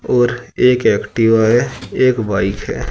और एक एक्टिवा है एक बाइक है।